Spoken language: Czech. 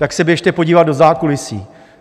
Tak se běžte podívat do zákulisí.